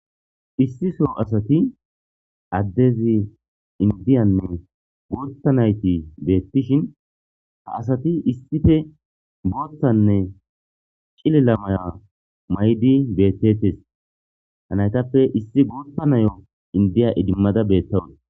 Issiso asati addezi indiyanne gootta nayti beettishin ha asati issife booththanne cilila maya maydi beettetes hanaytappe issi gootta nayo indiya idimmada beettawu.